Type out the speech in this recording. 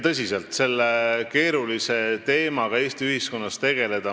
Tõsiselt, selle keerulise teemaga on Eesti ühiskonnas vaja tegeleda.